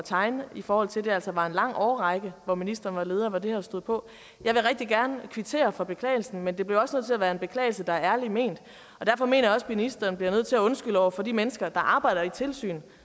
tegne i forhold til at det altså var i en lang årrække hvor ministeren var leder og det her stod på jeg vil rigtig gerne kvittere for beklagelsen men det bliver også nødt til at være en beklagelse der er ærligt ment derfor mener jeg også ministeren bliver nødt til at undskylde over for de mennesker der arbejder i et tilsyn